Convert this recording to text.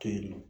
Tennɔ